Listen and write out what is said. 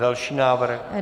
Další návrh.